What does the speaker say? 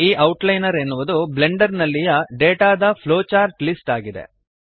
ಈ ಔಟ್ಲೈನರ್ ಎನ್ನುವುದು ಬ್ಲೆಂಡರ್ ನಲ್ಲಿಯ ಡೇಟಾದ ಫ್ಲೋಚಾರ್ಟ್ ಲಿಸ್ಟ್ ಆಗಿದೆ